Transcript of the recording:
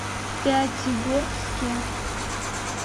пятигорске